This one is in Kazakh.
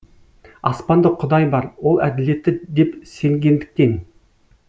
аспанда құдай бар ол әділетті деп сенгендіктен